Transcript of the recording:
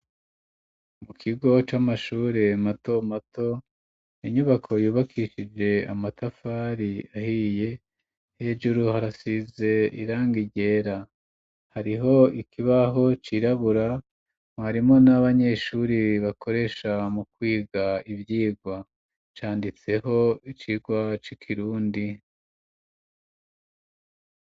Mu kigo c'amashuri mato mato inyubako yubakishije amatafari ahiye hejuru harasize irangi ryera hariho ikibaho cirabura mu arimo n'abanyeshuri bakoresha mu kwiga ivyirwa canditseho icirwa c'ikirundi.